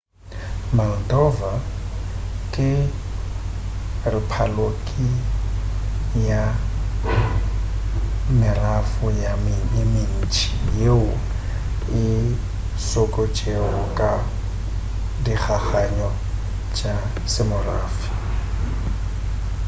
moldova ke rephapoliki ya merafo ye mentši yeo e sokotšego ka dikgakgano tša semorafe